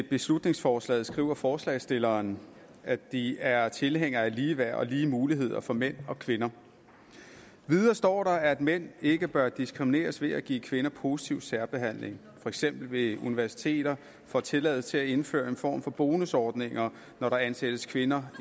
beslutningsforslaget skriver forslagsstillerne at de er tilhængere af ligeværd og lige muligheder for mænd og kvinder videre står der at mænd ikke bør ikke diskrimineres ved at give kvinderne positiv særbehandling for eksempel ved at universiteter får tilladelse til at indføre en form for bonusordning når der ansættes kvinder